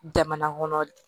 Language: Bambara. Jamana kɔnɔ